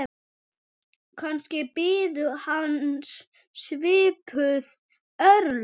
Kannski biðu hans svipuð örlög.